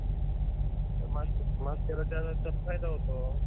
हम्म त्यामुळे तुला call केला, म्हटलं तुला विचारावं कधी.